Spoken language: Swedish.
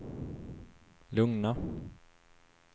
lugna